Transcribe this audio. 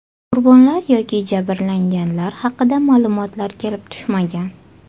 Qurbonlar yoki jabrlanganlar haqida ma’lumotlar kelib tushmagan.